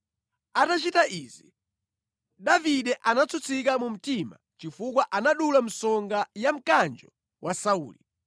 Atachita izi, Davide anatsutsika mu mtima chifukwa anadula msonga ya mkanjo wa Sauli.